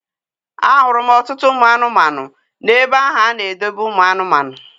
A hụrụ m ọtụtụ ụmụ anụmanụ n'ebe ahụ a na-edobe ụmụ anụmanụ.